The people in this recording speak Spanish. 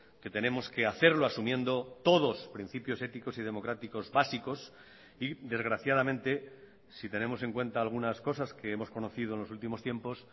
que tenemos que hacerlo asumiendo todos principios éticos y democráticos básicos y desgraciadamente si tenemos en cuenta algunas cosas que hemos conocido en los últimos tiempos